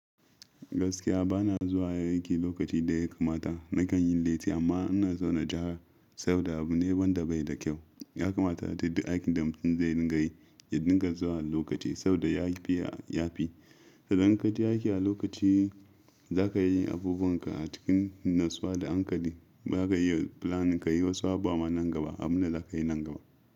Gaskiya bana zuwa aiki lokaci da ya kamata. Nakan yin latti amma ina zaune ja, saboda abu ne wanda da bai da kyau. Ya kamata aje aiki da mutum zai dinga yi, ya dinga zuwa lokaci saboda ya fi yafi. Idan ka je aiki a lokaci, za ka yi abubunka a cikin natsuwa da hankali ba ka yiwa plan, ka yi wasu abu ma nan gaba. Amma za ka yi nan gaba.